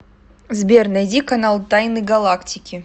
сбер найди канал тайны галактики